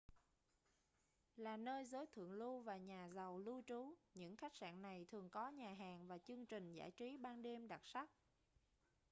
là nơi giới thượng lưu và nhà giàu lưu trú những khách sạn này thường có nhà hàng và chương trình giải trí ban đêm đặc sắc